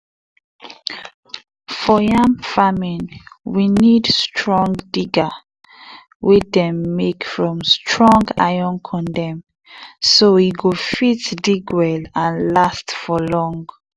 for yam farming we need strong digger wey dem make from strong iron condem so e go fit dig well and last for long